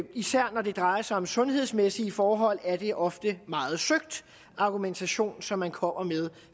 især når det drejer sig om sundhedsmæssige forhold er det ofte en meget søgt argumentation som man kommer med